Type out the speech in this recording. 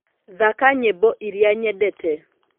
thaka nyĩmbo iria nyendete